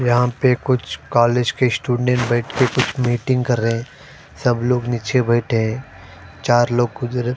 यहाँ पर कुछ कॉलेज के स्टूडेंट बैठ कर कुछ मीटिंग कर रहे है सब लोग नीचे बैठे है चार लोग खुजर--